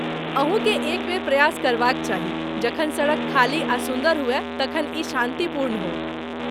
अहूँकेँ एक बेर प्रयास करबाक चाही, जखन सड़क खाली आ सुन्दर हुअय तखन ई शान्तिपूर्ण हो।